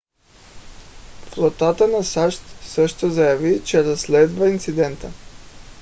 флотата на сащ също заяви че разследва инцидента